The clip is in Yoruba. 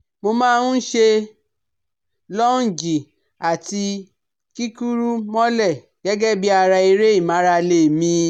Mo má a ń ṣe lọ́ọ̀njì àti kíkúrú mọ́lẹ̀ gẹ́gẹ́ bí ara eré ìmárale mi